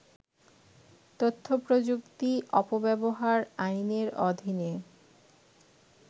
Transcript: তথ্যপ্রযুক্তি অপব্যবহার আইনের অধীনে